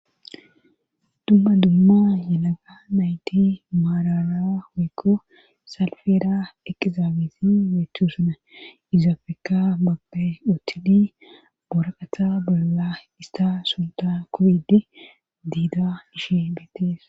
dumma dumma yelaga nayti maarara oykko salfeera ekizaabesi beechu suna izafeka mabpe utili boraqata bolla ista sunta kubid diida ishe beetees